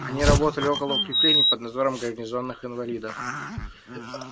они работали около укреплений под надзором гарнизонных инвалидов